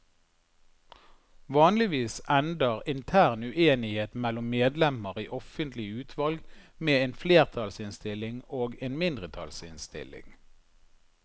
Vanligvis ender intern uenighet mellom medlemmer i offentlige utvalg med en flertallsinnstilling og en mindretallsinnstilling.